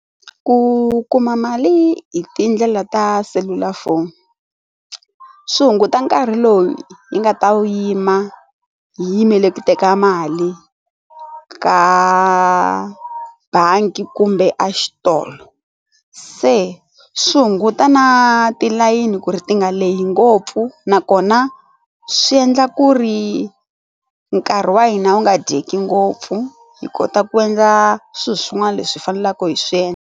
Ku kuma mali hi tindlela ta selulafoni swi hunguta nkarhi lowu hi nga ta wu yima hi yimele ku teka mali ka bangi kumbe a xitolo se swi hunguta na tilayini ku ri ti nga lehe ngopfu nakona swi endla ku ri nkarhi wa hina wu nga dyeki ngopfu hi kota ku endla swilo swin'wana leswi faneleke hi swi endla.